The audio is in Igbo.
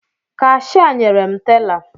Kashịa nyere m tela